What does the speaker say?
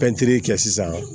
Pɛntiri kɛ sisan